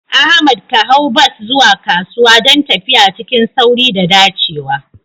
Ahmad ka hau bas zuwa kasuwa don tafiya cikin sauri da dacewa.